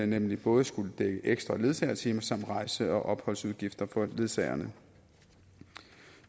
nemlig både skulle dække ekstra ledsagetimer samt rejse og opholdsudgifter for ledsagerne